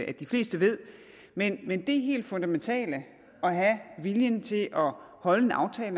at de fleste ved men det helt fundamentale at have viljen til at holde en aftale